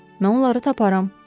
Mən onları taparam.